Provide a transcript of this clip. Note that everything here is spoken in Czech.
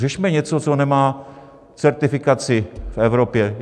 Řešíme něco, co nemá certifikaci v Evropě.